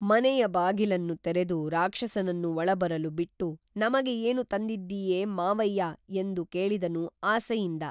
ಮನೆಯ ಬಾಗಿಲನ್ನು ತೆರೆದು ರಾಕ್ಷಸನನ್ನು ಒಳಬರಲು ಬಿಟ್ಟು ನಮಗೆ ಏನು ತಂದಿದ್ದೀಯೆ ಮಾವಯ್ಯಾ ಎಂದು ಕೇಳಿದನು ಆಸೆಯಿಂದ